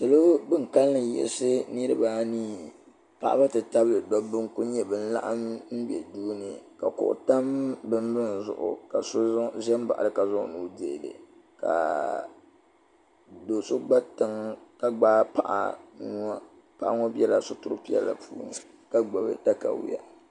Salo bin kalli yiɣisi niriba anii paɣaba ti tabili dobba n kuli n nyɛ bin laɣim be duuni ka kuɣu tam binbi zuɣu ka so zambaɣili ka zaŋ o nuu dihili ka do'so gba tiŋa ka gbaagi paɣa nua ka biɛla situri piɛla. puuni ka gbibi takawiya.